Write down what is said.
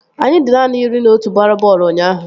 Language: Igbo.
Anyị dị naanị iri na otu gbara bọọlụ ụnyaahụ